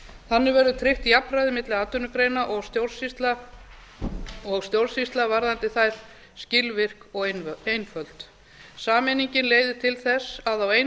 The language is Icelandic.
þannig verður tryggt jafnræði milli atvinnugreina og stjórnsýsla varðandi þær skilvirk og einföld sameiningin leiðir til þess að á einum